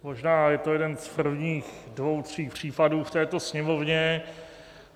Možná je to jeden z prvních dvou tří případů v této Sněmovně.